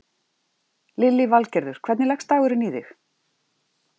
Lillý Valgerður: Hvernig leggst dagurinn í þig?